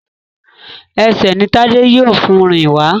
Ẹsẹ̀ ní Tade yíò fún rìn wá